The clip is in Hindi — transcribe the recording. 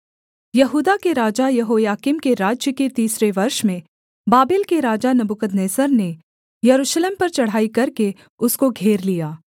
यहूदा के राजा यहोयाकीम के राज्य के तीसरे वर्ष में बाबेल के राजा नबूकदनेस्सर ने यरूशलेम पर चढ़ाई करके उसको घेर लिया